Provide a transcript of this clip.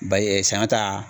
Ba saɲɔ ta.